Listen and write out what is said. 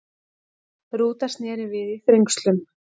Rúta snéri við í Þrengslum